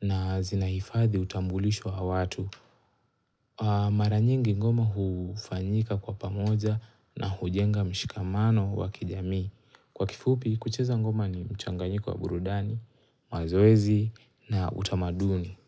na zinaifadhi utambulisho a watu. Mara nyingi ngoma hufanyika kwa pamoja na hujenga mshikamano wa kijamii Kwa kifupi, kucheza ngoma ni mchanganyiko kwa burudani, mazoezi na utamaduni.